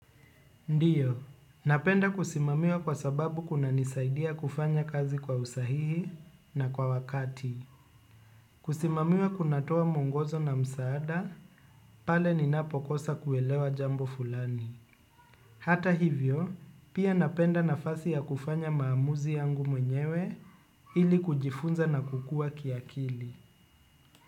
Ndiyo, napenda kusimamiwa kwa sababu kuna nisaidia kufanya kazi kwa usahihi na kwa wakati. Kusimamiwa kunatoa mwongozo na msaada, pale ninapokosa kuelewa jambo fulani. Hata hivyo, pia napenda nafasi ya kufanya maamuzi yangu mwenyewe ili kujifunza na kukuwa kiakili.